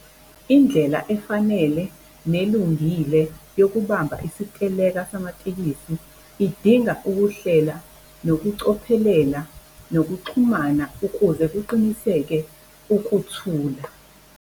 Indlela efanele nelungile yokubamba isiteleka samatekisi idinga ukuhlela nokucophelela, nokuxhumana ukuze kuqiniseke ukuthula.